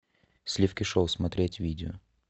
сливки шоу смотреть видео